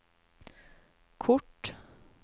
kort